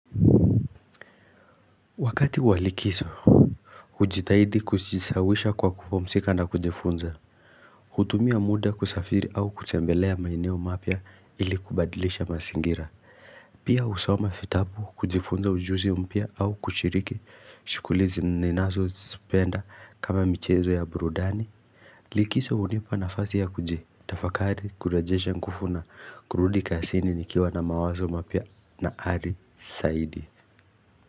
Wakati wa likiso Ujitahidi kujisawisha kwa kupumsika na kujifunza hutumia muda kusafiri au kutembelea maeneo mapya ili kubadilisha masingira Pia usoma fitabu kujifunza ujuzi mpya au kushiriki shukulizi ninazo sipenda kama michezo ya burudani Likiso unipa nafasi ya kujitafakari, kurejesha nkufu na, kurudi kasini nikiwa na mawazo mapya na ari saidi.